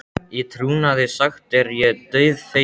Í trúnaði sagt er ég dauðfeginn.